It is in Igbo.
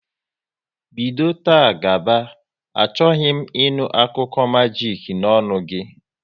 Bido taa gaba, achọghị m ị nụ akụkọ majik n'ọnụ gị!